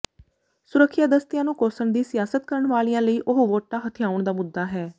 ਸੁਰੱਖਿਆ ਦਸਤਿਆਂ ਨੂੰ ਕੋਸਣ ਦੀ ਸਿਆਸਤ ਕਰਨ ਵਾਲਿਆਂ ਲਈ ਉਹ ਵੋਟਾਂ ਹਥਿਆਉਣ ਦਾ ਮੁੱਦਾ ਹੈ